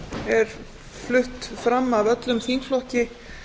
er flutt fram af öllum þingflokki